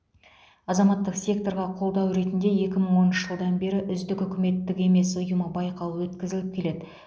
азаматтық секторға қолдау ретінде екі мың оныншы жылдан бері үздік үкіметтік емес ұйымы байқауы өткізіліп келеді